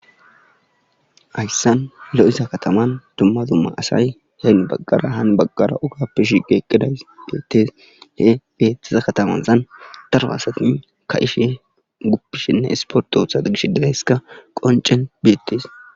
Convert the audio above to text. Hayssan lo7iza kataman dumma dumma asay heen baggara haan baggara ugappe shige eqqidays beettes he beettiza katamazan darwa asati ka ishi guppishinne isportoothaa gish digayska qoncen beettes.